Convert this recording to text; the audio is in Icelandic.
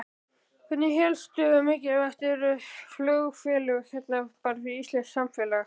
Hérna hversu mikilvæg eru flugfélögin hérna bara fyrir íslenskt samfélag?